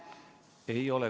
Ei ole.